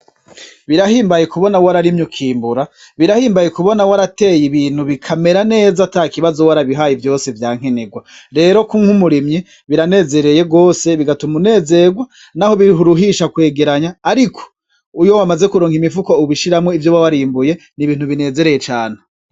Birahimbaye kubona wararimye ukimbura, birahimbaye kubona warateye ibintu bikamera neza atakibazo warabihaye vyose vyankenerwa, rero kuba umurimyi biranezereye gose bigatuma unezerwa naho biruhisha kwegeranya, ariko iyo wamaze kuronka imifuko ubishiramwo ivyo warimbuye ni ibintu binezereye cane.